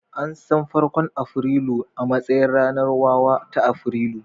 An san farkon Afrilu a matsayin ranar wawa ta Afrilu